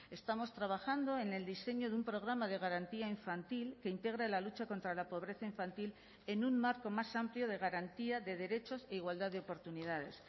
estamos trabajando en el diseño de un programa de garantía infantil que integra la lucha contra la pobreza infantil en un marco más amplio de garantía de derechos e igualdad de oportunidades